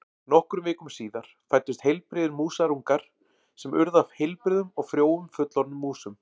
Nokkrum vikum síðar fæddust heilbrigðir músarungar sem urðu að heilbrigðum og frjóum fullorðnum músum.